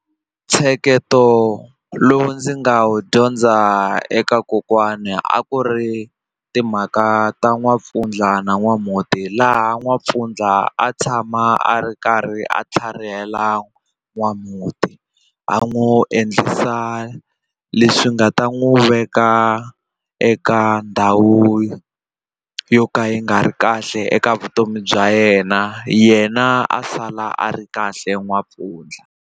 Ntsheketo lowu ndzi nga wu dyondza eka kokwani a ku ri timhaka ta n'wampfundla na n'wamhuti laha n'wampfundla a tshama a ri karhi a tlharihela n'wamhuti a n'wi endlisa leswi nga ta n'wi veka eka ndhawu yo ka yi nga ri kahle eka vutomi bya yena yena a sala a ri kahle n'wampfundla.